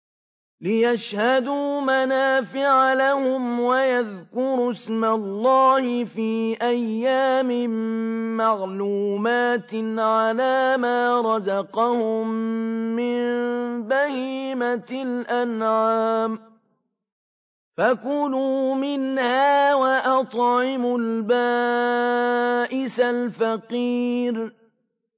لِّيَشْهَدُوا مَنَافِعَ لَهُمْ وَيَذْكُرُوا اسْمَ اللَّهِ فِي أَيَّامٍ مَّعْلُومَاتٍ عَلَىٰ مَا رَزَقَهُم مِّن بَهِيمَةِ الْأَنْعَامِ ۖ فَكُلُوا مِنْهَا وَأَطْعِمُوا الْبَائِسَ الْفَقِيرَ